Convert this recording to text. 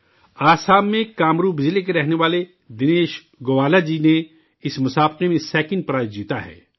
آسام میں کامروپ ضلع کے رہنے والے دنیش گووالا جی نے اس مقابلہ میں سیکنڈ پرائز جیتا ہے